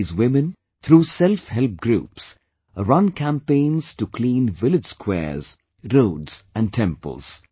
These women, through selfhelp groups, run campaigns to clean village squares, roads and temples